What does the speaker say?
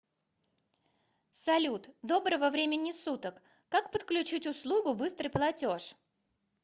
салют доброго времени суток как подключить услугу быстрый платеж